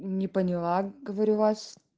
не поняла говорю вас